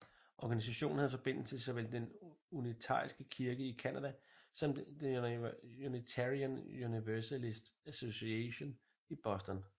Organisationen havde forbindelse til såvel den unitariske kirke i Canada som Unitarian Universalist Association i Boston